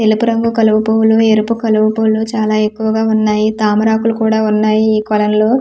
ఎలుపు రంగు కలుపు పూలు ఎరుపు కలుపు పూలు చాలా ఎక్కువగా ఉన్నాయి తామర ఆకులు కూడా ఉన్నాయి ఈ కొలనులో .]